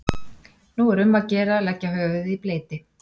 Nú er um að gera að leggja höfuðið í bleyti.